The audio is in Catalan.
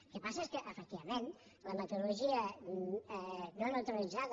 el que passa és que efectivament la metodologia no neutralitzada